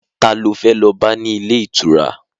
Ta lo fẹ́ lọ bá ní ilé ìtura?